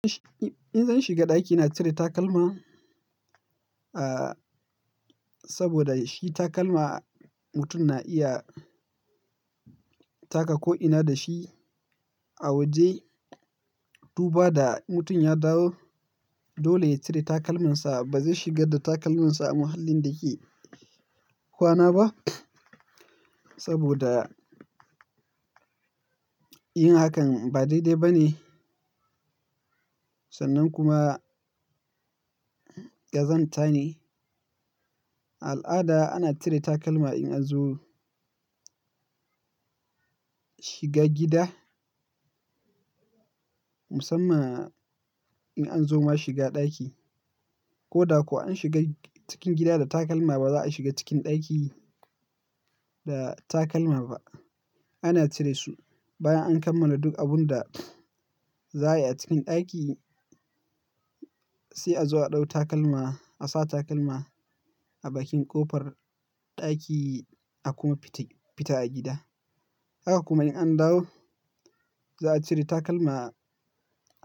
In-in zan shiga ɗaki, na cire takalma, uh, saboda shi takalma mutum na iya taka ko'ina da shi a waje. Du ba da mutum ya dawo, dole ya cire takalmansa. Ba zai shigar da takalmansa a muhallin da yake kwana ba saboda yin hakan ba daidai ba ne sannan kuma ƙazanta ne. Al'ada ana cire takalma in an zo shiga gida. Musamman in an zo ma shiga ɗaki. Ko da kuwa an shiga cikin gida da takalma ba za a shiga cikin ɗaki da takalma ba. Ana cire su bayan an kammala duk abun da za a yi a cikin ɗaki sai a zo a ɗau takalma, a sa takalma a bakin ƙofar ɗaki a kuma fita, fita a gida. Haka kuma in an dawo, za a cire takalma a.